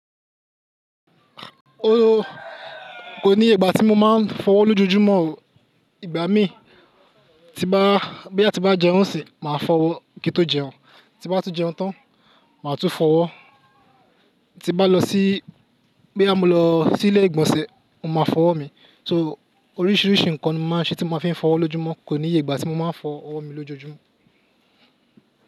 O ko níye ìgbà tí mo máa ń fọwọ́ lójoojúmọ́ o. Ìgbà mí tí ń bá, bóyá tí ń bá jẹun sì, màá fọwọ́ kí tó jẹun. Ti bá tún jẹun tán, màá tún fọwọ́. Ti bá lọ sí, bóyá mo lọ sí ilé ìgbọ̀nsẹ̀, mo máa fọwọ́ mi. So oríṣiríṣi nǹkan máa ṣe tí mo fi ń fọwọ́ lójoojúmọ́ kò ní ìyè ìgbà tí mo máa ń fọwọ́ mi lójoojúmọ́.